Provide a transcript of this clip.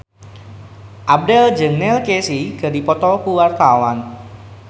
Abdel jeung Neil Casey keur dipoto ku wartawan